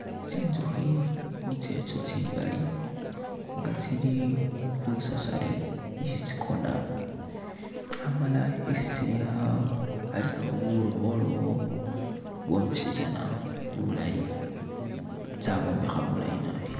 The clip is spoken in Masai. Tsinzukhi nitsetso tsingali nga tsili khwisasari isi tsikona amala isi tsili alikawo bulowolowo bwositsana bulaayi tsa'bwombekha bulaayi nabi.